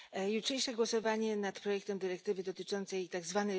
Jutrzejsze głosowanie nad projektem dyrektywy dotyczącej tzw.